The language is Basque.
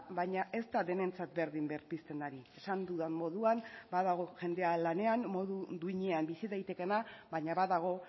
baina ez da denentzat berdin berpizten ari esan dudan moduan badago jendea lanean modu duinean bizi daitekeena baina badago